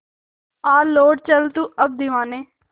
आ लौट चल तू अब दीवाने